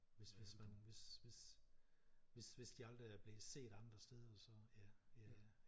Hvis hvis man hvis hvis hvis hvis de aldrig er blevet set andre steder så ja